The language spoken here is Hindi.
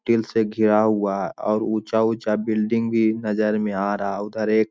तील से घिरा हुआ है और ऊंचा-ऊंचा बिल्डिंग भी नजर में आ रहा है। उधर एक--